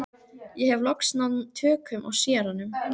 Ég hef loks náð tökum á séranum.